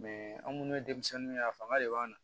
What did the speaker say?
an minnu ye denmisɛnninw ye a fanga de b'an na